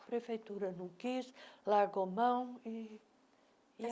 A prefeitura não quis, largou mão e